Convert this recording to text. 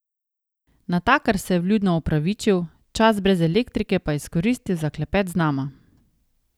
Natakar se je vljudno opravičil, čas brez elektrike pa izkoristil za klepet z nama.